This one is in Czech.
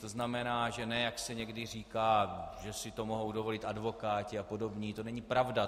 To znamená, že ne, jak se někdy říká, že si to mohou dovolit advokáti a podobní, to není pravda.